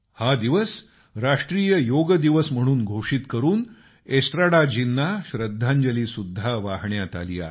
हा दिवस राष्ट्रीय योग दिवस म्हणून घोषित करून एस्ट्राडाजींना श्रद्धांजली सुद्धा वाहण्यात आली आहे